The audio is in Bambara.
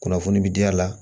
Kunnafoni bi di a la